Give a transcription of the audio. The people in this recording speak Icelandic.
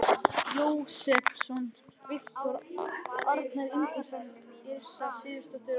Jósepsson, Viktor Arnar Ingólfsson, Yrsa Sigurðardóttir og